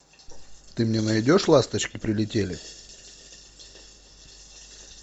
ты мне найдешь ласточки прилетели